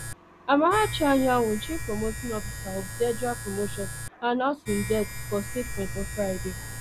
ammarachi anyanwu chief operating officer of derda promotions announce im death for statement on friday